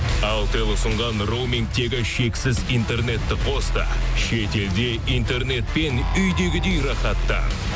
алтел ұсынған роумингтегі шексіз интернетті қос та шетелде интернетпен үйдегідей рахаттан